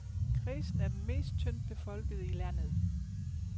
Kredsen er den mest tyndt befolkede i landet.